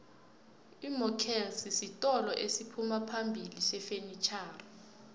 imokelsi sitolo esiphumaphambili sefenitjhoxa